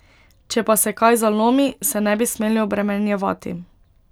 Če pa se kaj zalomi, se ne bi smeli obremenjevati.